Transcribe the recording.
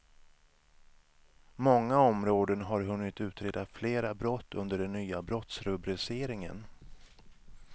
Många områden har hunnit utreda flera brott under den nya brottsrubriceringen.